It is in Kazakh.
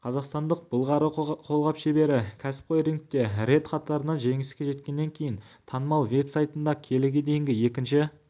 қазақстандық былғары қолғап шебері кәсіпқой рингте рет қатарынан жеңіске жеткеннен кейін танымал веб-сайтында келіге дейінгі екінші